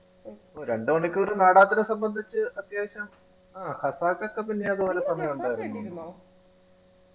ഓ രണ്ടുമണിക്കൂറു നാടകത്തിനെ സംബന്ധിച്ചു അത്യാവശ്യം ആഹ് ഒക്കെ പിന്നെ അത്പോലെ സമയഉണ്ടായിരുന്നോ